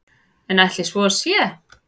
En ætli svo sé?